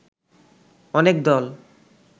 অনেক দল